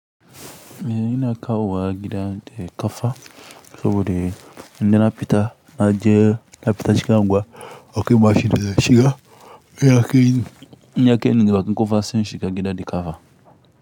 Eh ina kawo gida da ƙafa saboda indai na fita na je na fita cikin unguwa akwai mashida shiga in yake in yake ni bakin ƙofa sai in shiga gida da ƙafa.